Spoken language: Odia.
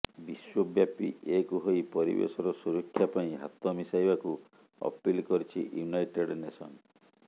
ବିଶ୍ୱବ୍ୟାପୀ ଏକ୍ ହୋଇ ପରିବେଶର ସୁରକ୍ଷା ପାଇଁ ହାତ ମିଶାଇବାକୁ ଅପିଲ କରିଛି ୟୁନାଇଟେଡ୍ ନେସନ୍